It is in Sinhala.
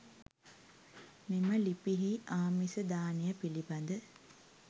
මෙම ලිපියෙහි ආමිස දානය පිළිබඳ